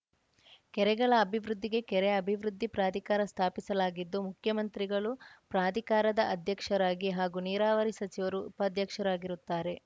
ಕೆರೆಗಳ ಅಭಿವೃದ್ಧಿಗೆ ಕೆರೆ ಅಭಿವೃದ್ಧಿ ಪ್ರಾಧಿಕಾರ ಸ್ಥಾಪಿಸಲಾಗಿದ್ದು ಮುಖ್ಯಮಂತ್ರಿಗಳು ಪ್ರಾಧಿಕಾರದ ಅಧ್ಯಕ್ಷರಾಗಿ ಹಾಗೂ ನೀರಾವರಿ ಸಚಿವರು ಉಪಾಧ್ಯಕ್ಷರಾಗಿರುತ್ತಾರೆ